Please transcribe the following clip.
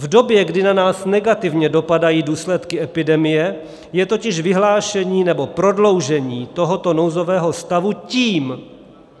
V době, kdy na nás negativně dopadají důsledky epidemie, je totiž vyhlášení nebo prodloužení tohoto nouzového stavu tím,